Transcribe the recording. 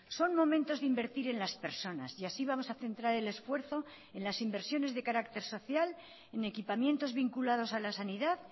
son momentos de invertir en las personas y así vamos a centrar el esfuerzo en las inversiones de carácter social en equipamientos vinculados a la sanidad